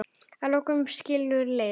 Að lokum skilur leiðir.